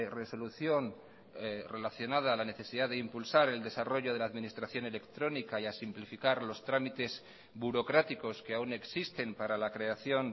resolución relacionada a la necesidad de impulsar el desarrollo de la administración electrónica y a simplificar los trámites burocráticos que aún existen para la creación